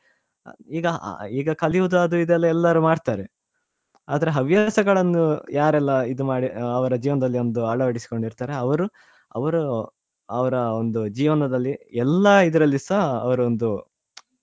ಈಗ ಆ ಕಲಿಯುದು ಅದು ಇದು ಎಲ್ಲ ಎಲ್ಲರೂ ಮಾಡ್ತಾರೆ ಆದ್ರೆ ಹವ್ಯಾಸಗಳನ್ನು ಯಾರೆಲ್ಲಾಇದು ಮಾಡಿ ಅ ಅವರ ಜೀವನದಲ್ಲಿಒಂದು ಅಳವಡಿಸಿಕೊಂಡು ಇರ್ತಾರೆ ಅವರು ಅವ್ರಒಂದು ಜೀವನದಲ್ಲಿ ಎಲ್ಲ ಇದ್ರಲ್ಲಿಸಾ ಅವರೊಂದು.